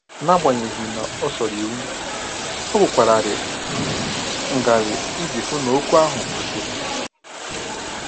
N'agbanyeghị na o soro iwu, ọ kwụkwararị ngarị iji hụ n'okwu ahụ kwụsịrị